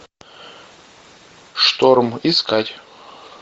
шторм искать